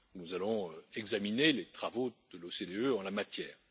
Nous allons examiner les travaux de l'OCDE en la matière.